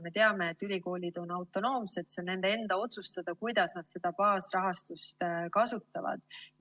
Me teame, et ülikoolid on autonoomsed, see on nende enda otsustada, kuidas nad baasrahastust kasutavad.